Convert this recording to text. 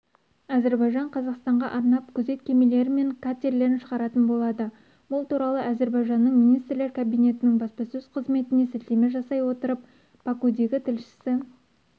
әзірбайжан қазақстанға арнап күзет кемелері мен катерлерін шығаратын болады бұл туралы әзірбайжанның министрлер кабинетінің баспасөз қызметіне сілтеме жасай отырып бакудегі тілшісі